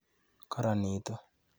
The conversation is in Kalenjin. Karanitu.